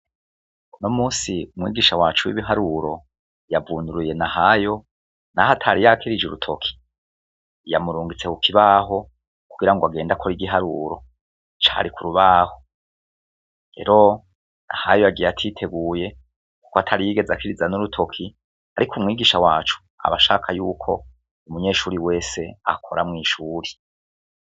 Uno munsi, mwigisha wacu w'ibiharuro yavunduruye Nahayo naho atari yakirije urutoki. Yamurungitse ku kibaho kugira ngo agende akore igiharuro cari ku ribaho. Rero Nahayo yagiye ariteguye kuko atari yigeze akiriza n'urutoki, ariko mwigisha wacu aba shaka yuko umwigisha wese akora mw'ishuri